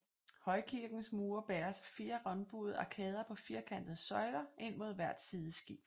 Højkirkens mure bæres af fire rundbuede arkader på firkantede søjler ind mod hvert sideskib